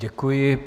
Děkuji.